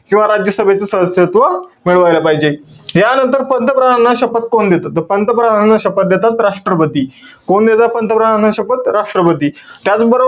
किंवा राज्य सभेचं सदस्यत्व मिळवायला पाहिजे. यानंतर पंतप्रधानाना शपथ कोण देतं? त पंतप्रधानांना शपथ देतात, राष्ट्र्पती. कोण देतं पंतप्रधानांना शपथ, राष्ट्र्पती. त्याचबरोबर,